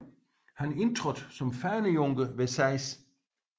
Han indtrådte som fanejunker ved 6